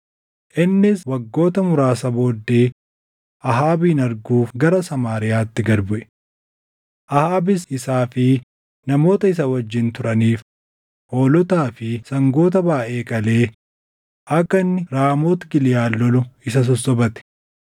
Innis waggoota muraasa booddee Ahaabin arguuf gara Samaariyaatti gad buʼe. Ahaabis isaa fi namoota isa wajjin turaniif hoolotaa fi sangoota baayʼee qalee akka inni Raamooti Giliʼaad lolu isa sossobate.